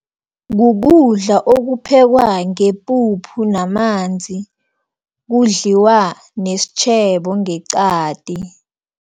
Kukudla okuphekwa ngepuphu namanzi, kudlaliwa nesitjhebo ngeqadi.